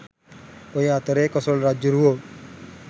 ඔය අතරේ කොසොල් රජ්ජුරුවෝ